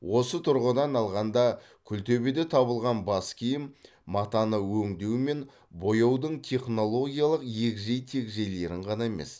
осы тұрғыдан алғанда күлтөбеде табылған бас киім матаны өңдеу мен бояудың технологиялық егжей тегжейлерін ғана емес